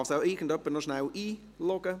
Kann sie bitte noch jemand einloggen?